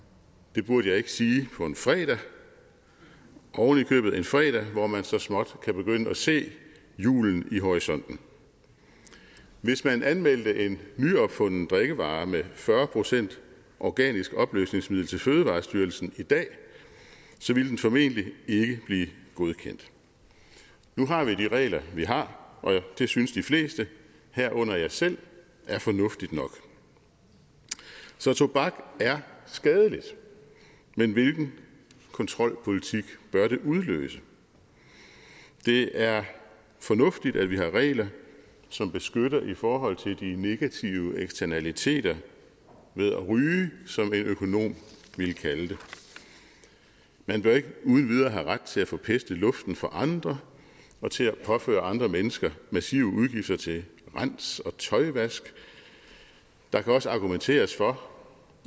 det burde jeg ikke sige på en fredag ovenikøbet en fredag hvor man så småt kan begynde at se julen i horisonten hvis man anmeldte en nyopfunden drikkevare med fyrre procent organisk opløsningsmiddel til fødevarestyrelsen i dag ville den formentlig ikke blive godkendt nu har vi de regler vi har og det synes de fleste herunder jeg selv er fornuftigt nok så tobak er skadeligt men hvilken kontrolpolitik bør det udløse det er fornuftigt at vi har regler som beskytter i forhold til de negative eksternaliteter ved at ryge som en økonom ville kalde det man bør ikke uden videre have ret til at forpeste luften for andre og til at påføre andre mennesker massive udgifter til rens og tøjvask der kan også argumenteres for